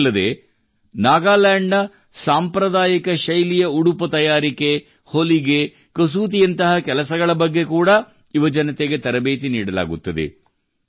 ಇಷ್ಟೇ ಅಲ್ಲದೇ ನಾಗಾಲ್ಯಾಂಡ್ ನ ಸಾಂಪ್ರದಾಯಿಕ ಶೈಲಿಯ ಉಡುಪು ತಯಾರಿಕೆ ಹೊಲಿಗೆ ಕಸೂತಿಯಂತಹ ಕೆಲಸಗಳ ಬಗ್ಗೆ ಕೂಡಾ ಯುವಜನತೆಗೆ ತರಬೇತಿ ನೀಡಲಾಗುತ್ತದೆ